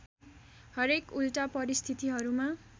हरेक उल्टा परिस्थितिहरूमा